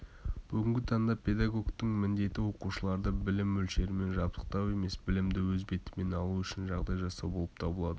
бүгінгі таңда педагогтің міндеті оқушыларды білім мөлшерімен жабдықтау емес білімді өз бетімен алу үшін жағдай жасау болып табылады